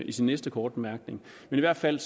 i sin næste korte bemærkning i hvert fald